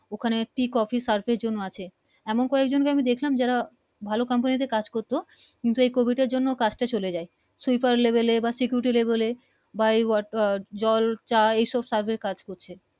ওখানে Tea Coffee Surfe এমন কয়েক জনকে দেখলাম যারা ভালো । Company তে কাজ করতো কিন্তু এই Covid এর জন্য কাজ তা চলে যায় সুপার Level এ বা security level বা ওয়াট আহ জল চা এই সব এর কাজ করছে